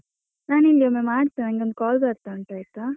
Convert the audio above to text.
ನಾನ್ ನಿಂಗೊಮ್ಮೆ ಮಾಡ್ತೇನೆ, ನಂಗೆ ಒಂದು call ಬರ್ತಾ ಉಂಟು ಆಯ್ತಾ.